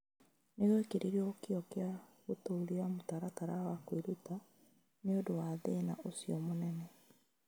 Nĩ gwekĩrirũo kĩyo gĩa gũtũũria mũtaratara wa kwĩruta nĩ ũndũ wa thĩna ũcio mũnene.